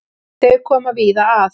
Þau koma víða að.